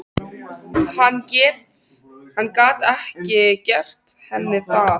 Hann gat ekki gert henni það.